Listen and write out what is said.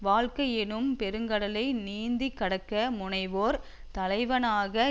வாழ்க்கை எனும் பெருங்கடலை நீந்தி கடக்க முனைவோர் தலைவனாக